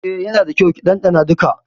Eh, yana da kyau ki dandana duka.